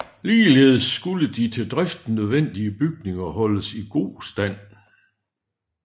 Ligeledes skulle de til driften nødvendige bygninger holdes i god stand